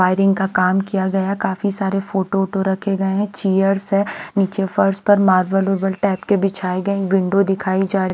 wiring का काम किया गया काफी सारे फोटो ओटो रखे गए हैं चेयर्स है नीचे फर्श पर मार्बल ओरबल टाइप के बिछाए गए विंडो दिखाई जा--